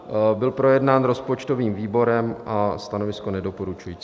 Byl projednán rozpočtovým výborem a stanovisko nedoporučující.